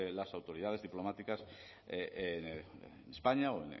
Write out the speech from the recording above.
las autoridades diplomáticas en españa o